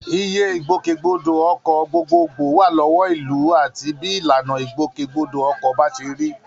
Iye Ìgbòkègbodò ọkọ̀ gbogbogbò wà lọ́wọ́ ìlú àti bí ìlànà ìgbòkègbodò ọkọ̀ bá ṣe rí